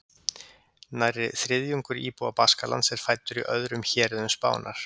Nærri þriðjungur íbúa Baskalands er fæddur í öðrum héruðum Spánar.